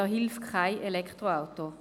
Da hilft kein Elektroauto.